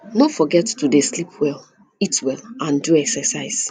no forget to dey sleep well eat well and do excercise